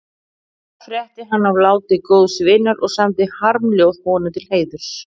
Þar frétti hann af láti góðs vinar og samdi harmljóð honum til heiðurs.